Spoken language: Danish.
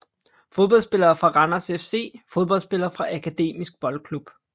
Fodboldspillere fra Randers FC Fodboldspillere fra Akademisk Boldklub